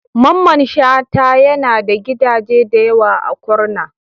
Mamman Shata yana da gidaje da yawa a Kurna.